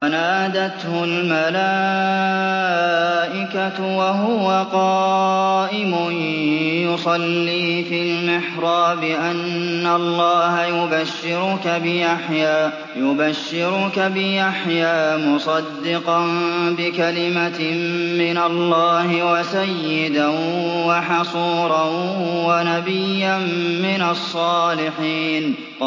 فَنَادَتْهُ الْمَلَائِكَةُ وَهُوَ قَائِمٌ يُصَلِّي فِي الْمِحْرَابِ أَنَّ اللَّهَ يُبَشِّرُكَ بِيَحْيَىٰ مُصَدِّقًا بِكَلِمَةٍ مِّنَ اللَّهِ وَسَيِّدًا وَحَصُورًا وَنَبِيًّا مِّنَ الصَّالِحِينَ